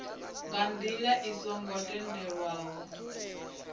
nga ndila i songo tendelwaho